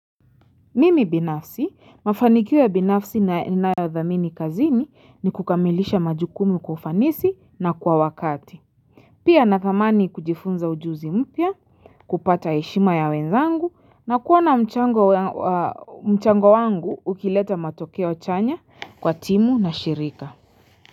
Mimi binafsi mafanikio ya binafsi ninayodhamini kazini ni kukamilisha majukumu kwa ufanisi na kwa wakati Pia nathamani kujifunza ujuzi mpya kupata heshima ya wenzangu na kuona mchango wa mchango wangu ukileta matokeo chanya kwa timu na shirika.